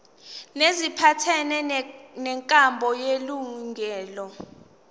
neziphathelene nenkambo elungileyo